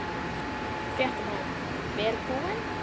Fréttamaður: Vel búin?